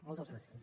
moltes gràcies